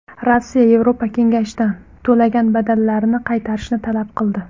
Rossiya Yevropa kengashidan to‘lagan badallarini qaytarishni talab qildi.